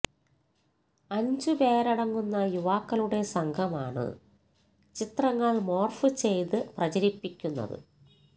അഞ്ചു പേരടങ്ങുന്ന യുവാക്കളുടെ സംഘമാണ് ചിത്രങ്ങള് മോര്ഫ് ചെയ്ത് പ്രചരിപ്പിക്കുന്നത്